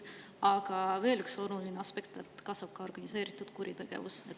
Aga veel üks oluline aspekt: kasvab ka organiseeritud kuritegevus.